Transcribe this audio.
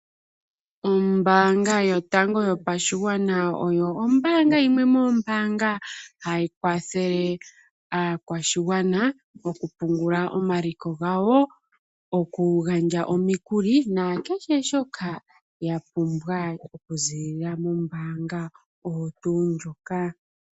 Ombanga yotango yopashingwana yaNamibia, oyo ombaanga yimwe yomoombanga dhomo shilongo shetu ha yi kwathele aakwashigwana nokupungula omaliko gawo , okugandja omikuli nakehe shoka yapumbwa okuzilila mombanga ndjika.